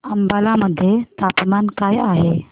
अंबाला मध्ये तापमान काय आहे